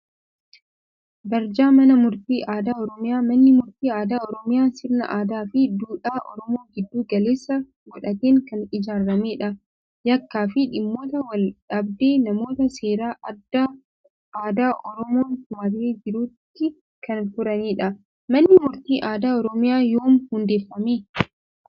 Barjaa Mana Murtii Aadaa Oromiyaa. Manni murtii aadaa Oromiyaa sirna aadaa fi duudhaa Oromoo giddu galeessa godhateen kan ijaaramedha. Yakkaa fi dhimmoota wal-dhabdee namootaa seera aadaa Oromoon tumatee jiruutti kan furanidha. Manni murtii aadaa Oromiyaa yoom hundeeffame?